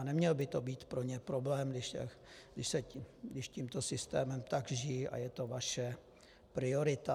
A neměl by to být pro ně problém, když tímto systémem tak žijí a je to vaše priorita.